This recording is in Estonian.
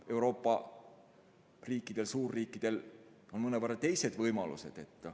Euroopa riikidel, suurriikidel on mõnevõrra teised võimalused.